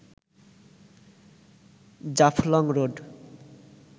Jaflong road